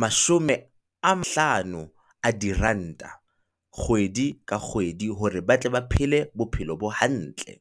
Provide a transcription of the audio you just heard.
mashome a a diranta kgwedi ka kgwedi, hore ba tle ba phele bophelo bo hantle.